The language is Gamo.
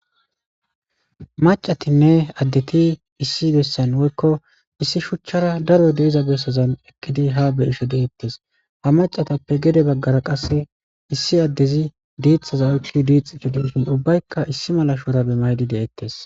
macatinne addeti issi bessan woykko issi shuchchara daro deiza bessozan eqqidi ha be isho de7ettes ha macatappe gede baggara qasse issi addezi diixxaza oyk diix itudishin ubbaykka issi mala shuurabe maydi de7ettes